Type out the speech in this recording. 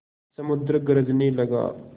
समुद्र गरजने लगा